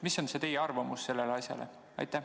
Mis on teie arvamus selle asja kohta?